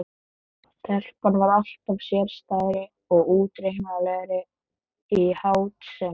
Telpan varð alltaf sérstæðari og óútreiknanlegri í háttsemi sinni.